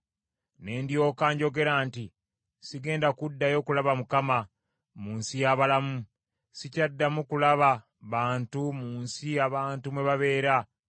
Ne ndyoka njogera nti, “Sigenda kuddayo kulaba Mukama , mu nsi y’abalamu. Sikyaddamu kulaba bantu mu nsi abantu mwe babeera.